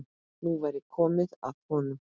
Nú væri komið að honum.